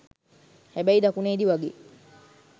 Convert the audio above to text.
හැබැයි දකුණේදී වගේ